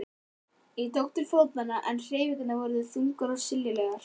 Ég tók til fótanna en hreyfingarnar voru þungar og silalegar.